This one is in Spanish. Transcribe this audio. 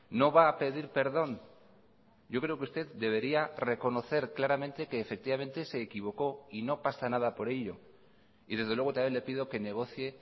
no va a pedir perdón yo creo que usted debería reconocer claramente que efectivamente se equivocó y no pasa nada por ello y desde luego también le pido que negocie